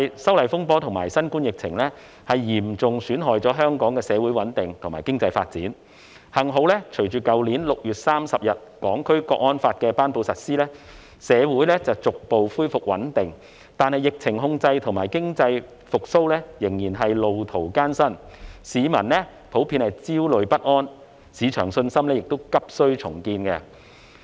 修例風波及新冠疫情嚴重損害了香港的社會穩定及經濟發展，幸好，隨着去年6月30日《香港國安法》的頒布及實施，社會逐步恢復穩定，但疫情控制及經濟復蘇仍然路途艱辛，市民普遍焦慮不安，市場信心亦急需重建。